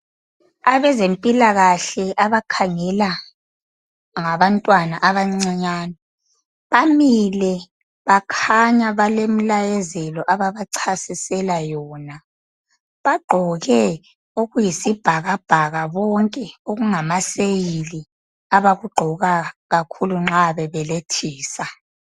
Abezempilakahle abakhangela ngabantwana abancinyane bamile bakhanya balemilayezelo ababachasisela yona. Bagqoke okuyisibhakabhaka bonke okungamaseyili abakugqoka kakhulu nxa bebelethisa.